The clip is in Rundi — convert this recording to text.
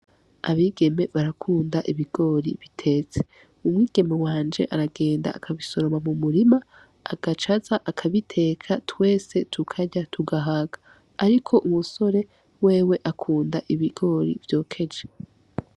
Abigeme barakunda ibigori bitetse, umwigeme wanje aragenda akabisoroma mu murima agaca aza akabiteka twese tukarya tugahaga, ariko umusore wewe akunda ibigori vyokeje.